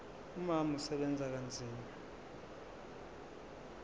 umama usebenza kanzima